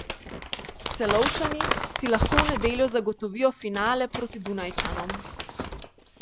Celovčani si lahko v nedeljo zagotovijo finale proti Dunajčanom.